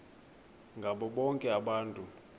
ngabo bonke abantu